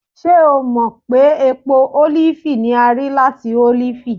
ṣe o mọ pe epo olifi ni a ri lati olifi?